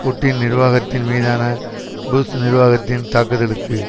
Putin நிர்வாகத்தின் மீதான புஷ் நிர்வாகத்தின் தாக்குதலுக்கு